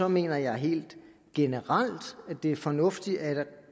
mener jeg helt generelt at det er fornuftigt at